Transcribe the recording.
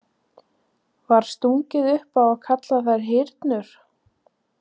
Var stungið upp á að kalla þær hyrnur.